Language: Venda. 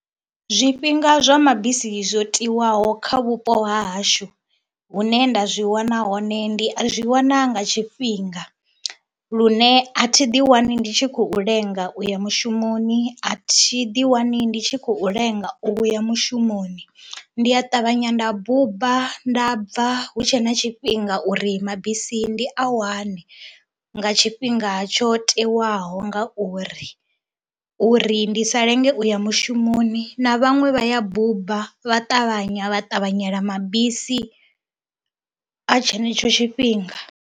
Zwifhinga zwa mabisi zwo tiwaho kha vhupo ha hashu hune nda zwi wana hone ndi a zwi wana nga tshifhinga lune a thi ḓiwani ndi tshi khou lenga u ya mushumoni, a thi ḓiwani ndi tshi khou lenga u ya mushumoni. Ndi a ṱavhanya nda buba nda bva hu tshe na tshifhinga uri mabisi ndi a wane nga tshifhinga tsho tewaho nga uri, uri ndi sa lenge u ya mushumoni na vhaṅwe vha ya buba vha ṱavhanya vha ṱavhanyela mabisi a tshenetsho tshifhinga.